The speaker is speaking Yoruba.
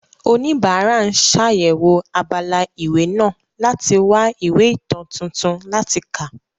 Oníbàárà ń ṣàyẹ̀wò abala ìwé náà láti wá ìwé ìtàn tuntun láti kà.